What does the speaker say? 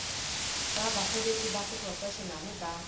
tsa basebetsi ba seprofeshenale ba